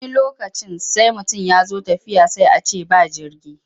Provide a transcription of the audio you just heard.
Wani lokacin sai mutum ya zo tafiya sai a ce ba jirgi.